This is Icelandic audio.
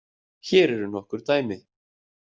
Hér eru nokkur dæmi